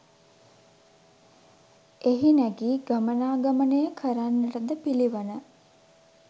එහි නැගී ගමනාගමනය කරන්නටද පිළිවන.